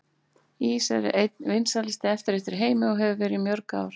Ís er einn vinsælasti eftirréttur í heimi og hefur verið í mörg ár.